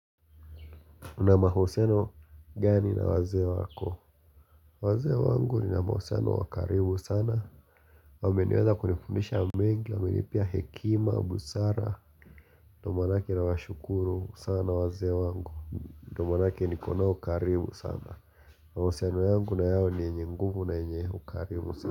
uNa mahusiano gani na wazee wako waze wangu ni na mahuseno wakaribu sana wame niweza kunifundisha mengi wame nipea hekima, busara ndio maanake nawashukuru sana waze wangu Ndio maanakile ni konao karibu sana mahusiano yangu na yao ni yenye nguvu na yenye ukarimu sana.